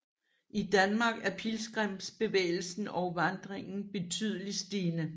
I Danmark er pilgrimsbevægelsen og vandringen betydelig stigende